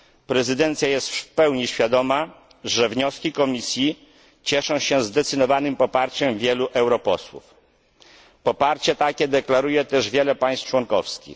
Prezydencja jest w pełni świadoma, że wnioski Komisji cieszą się zdecydowanym poparciem wielu europosłów. Poparcie takie deklaruje też wiele państw członkowskich.